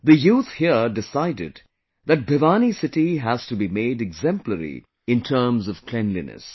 The youth here decided that Bhiwani city has to be made exemplary in terms of cleanliness